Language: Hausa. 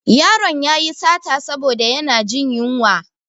Ƴaron yayi sata saboda yana jin yunwa.